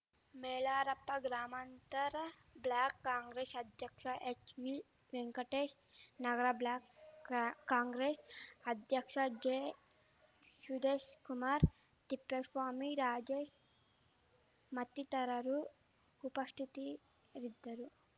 ಮೈಲಾರಪ್ಪ ಗ್ರಾಮಾಂತರ ಬ್ಲಾಕ್ ಕಾಂಗ್ರೆಶ್ ಅಧ್ಯಕ್ಷ ಹೆಚ್ವಿ ವೆಂಕಟೇಶ್ ನಗರ ಬ್ಲಾಕ್ ಕಾಂಗ್ರೆಶ್ ಅಧ್ಯಕ್ಷ ಜೆ ಶುದೇಶ್‍ಕುಮಾರ್ ತಿಪ್ಪೇಸ್ವಾಮಿ ರಾಜೇಶ್ ಮತ್ತಿತರರು ಉಪಸ್ಥಿತಿರಿದ್ದರು